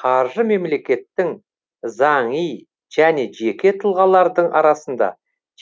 қаржы мемлекеттің заңи және жеке тұлғалардың арасында